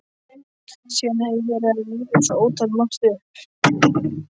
Síðan hef ég verið að rifja svo ótalmargt upp.